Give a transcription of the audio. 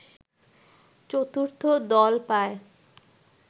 চতুর্থ দল পায়